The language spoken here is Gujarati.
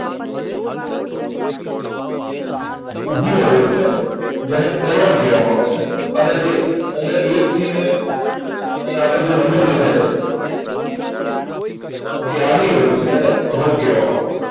ઉભી row છે. જેને column કહેવામાં આવે છે. અને જે અહીંયા એકથી ને અહીંયા આગળ જે નંબર દેખાઈ છે, જે આડી row છે, એને row કહેવામાં આવે છે.